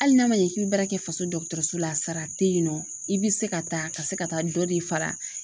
Hali n'a ma ɲɛ k'i bɛ baara kɛ faso dɔgɔtɔrɔso la sara tɛ yen nɔ i bɛ se ka taa ka se ka taa dɔ de fara